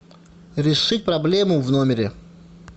реши проблему в номере